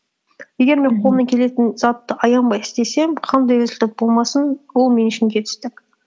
егер мен қолымнан келетін затты аянбай істесем қандай результат болмасын ол мен үшін жетістік